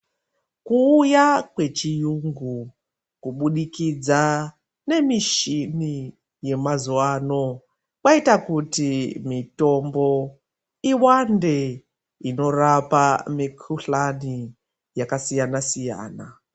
Kuuya wechiyungu kubudikidza nemishini yemazuva ano kwaita kuti mitombo iwande inorapa mikuhlani yakasiyana-siyana.